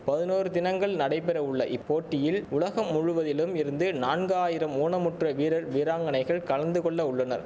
பதினோரு தினங்கள் நடைபெற உள்ள இப்போட்டியில் உலகம் முழுவதிலும் இருந்து நான்காயிரம் ஊனமுற்ற வீரர் வீராங்கனைகள் கலந்துகொள்ள உள்ளனர்